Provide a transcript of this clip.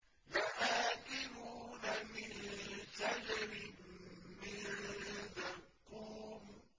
لَآكِلُونَ مِن شَجَرٍ مِّن زَقُّومٍ